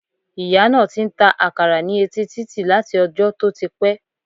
Ìyá náà ti n ta àkàrà ní etí títì láti ojó tó ti pé